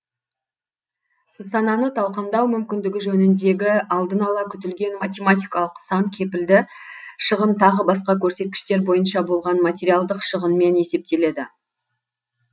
нысананы талкандау мүмкіндігі жөніндегі алдын ала күтілген математикалық сан кепілді шығын тағы басқа көрсеткіштер бойынша болған материалдык шығынмен есептеледі